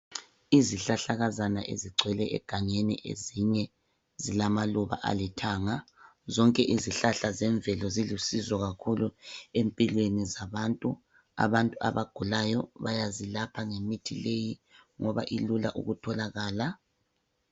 Izihlahlakazana ezigcwele egangeni ezinye zilamaluba alithanga zonke izihlahla zemvelo zilusizo kakhulu empilweni zabantu, abantu abagulayo bayazilapha ngemithi leyi ngoba ilula ukutholakala.